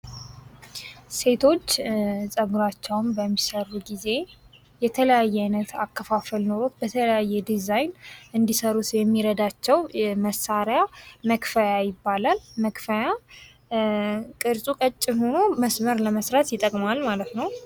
ሴቶች ፀጉራቸውን በሚሰሩ ጊዜ የተለያየ ዓይነት አከፋፈል ኖሮት በተለያየ አይነት ዲዛይን እንዲሰሩት የሚረዳቸው መሳሪያ መክፈያ ይባላል:: መክፈያ ቅርፁ ቀጭን ሆኖ መስመር ለመስራት ይጠቅማል ማለት ነው::